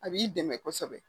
A b'i dɛmɛ kosɛbɛ